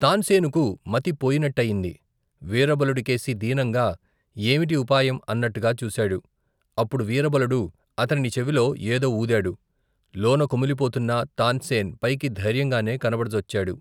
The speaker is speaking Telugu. తాన్సేనుకు మతి పోయినట్టయింది, వీరబలుడికేసి, దీనంగా, ఏమిటి ఉపాయం అన్నట్టుగా చూసాడు, అప్పుడు వీరబలుడు, అతని చెవిలో ఏదో వూదాడు, లోన కుమిలిపోతున్నా, తాన్సేన్, పైకి ధైర్యంగానే కనబడజొచ్చాడు.